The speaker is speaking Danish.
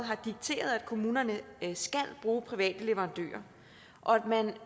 har dikteret at kommunerne skal bruge private leverandører og at man